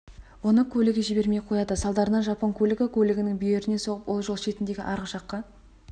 оны көлігі жібермей қояды салдарынан жапон көлігі көлігінің бүйірінен соғып ол жол шетіндегі арық жаққа